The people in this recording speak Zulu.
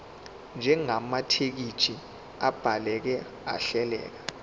njengamathekisthi abhaleke ahleleka